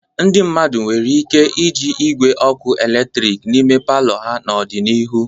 Ndị mmadụ nwere ike iji igwe ọkụ eletrik n'ime palọ ha n'ọdịnihu.